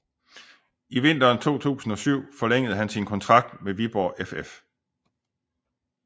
I vinteren 2007 forlængede han sin kontrakt med Viborg FF